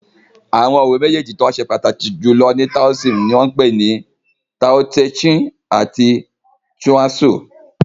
Àwọn ìwé meji tí ó ṣe pataki julọ ní taoism ní wan pé ní "Tao-te Ching" àti "Chuang-tzu"